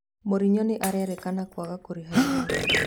Morinyo nĩ arerĩkana kwaga kũrĩha igoti.